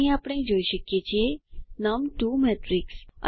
અહીં આપણે જોઈ શકીએ છીએ નમ2 મેટ્રિક્સ